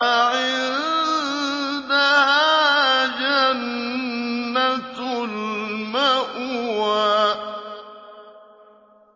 عِندَهَا جَنَّةُ الْمَأْوَىٰ